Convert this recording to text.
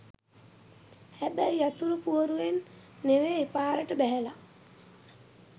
හැබැයි යතුරු පුවරුවෙන් නෙවෙයි පාරට බැහැලා